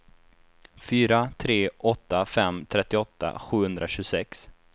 fyra tre åtta fem trettioåtta sjuhundratjugosex